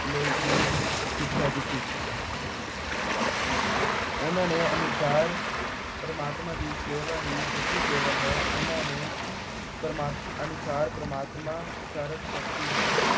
ਲਈ ਦੀ ਸਿੱਖਿਆ ਦਿੱਤੀ। ਉਨ੍ਹਾਂ ਦੇ ਅਨੁਸਾਰ ਪ੍ਰਮਾਤਮਾ ਦੀ ਸੇਵਾ ਹੀ ਸੱਚੀ ਸੇਵਾ ਹੈ। ਉਨ੍ਹਾਂ ਦੇ ਅਨੁਸਾਰ ਪ੍ਰਮਾਤਮਾ ਸਰਬਸ਼ਕਤੀ ਹੈ।